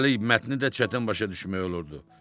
Üstəlik, mətni də çətin başa düşmək olurdu.